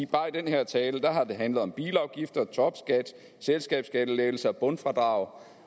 bare i den her tale har det handlet om bilafgifter topskat selskabsskattelettelser bundfradrag